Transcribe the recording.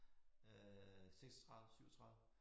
Øh 36 37